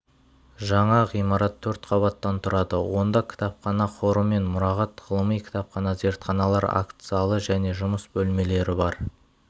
жаңа ғимарат төрт қабаттан тұрады онда кітапхана қоры мен мұрағат ғылыми кітапхана зертханалар акт залы және жұмыс бөлмелері бар